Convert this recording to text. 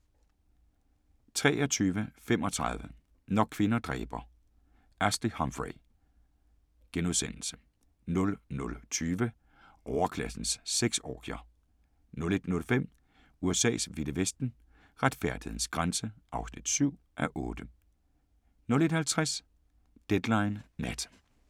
23:35: Når kvinder dræber – Ashley Humphrey * 00:20: Overklassens sexorgier 01:05: USA's vilde vesten: Retfærdighedens grænse (7:8) 01:50: Deadline Nat